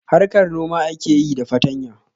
Harkar noma ake yi da fatanya